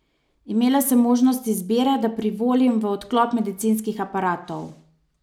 Imela sem možnost izbire, da privolim v odklop medicinskih aparatov.